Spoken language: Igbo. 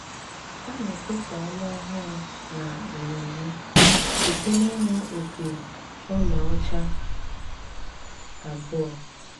Á ná-ékwásá ọnwá óhúrụ ná emémmé síté n’íṅú ópí óláọ́chá ábụọ.